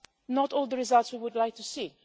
Not all the results we would like